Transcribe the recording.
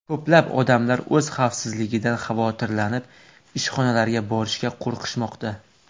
Ko‘plab odamlar o‘z xavfsizligidan xavotirlanib ishxonalariga borishga qo‘rqishmoqda.